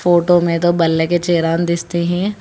Photo में दो बल्ले के चेयर आन दिस्ते है।